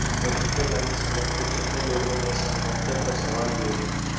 वहीं मेनका गांधी समेत कुछ अन्य लोगों ने इस एनकाउंटर पर सवाल भी उठाए